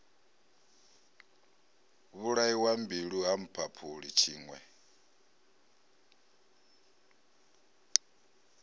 vhulaiwa mbilwi ha mphaphuli tshiṋwe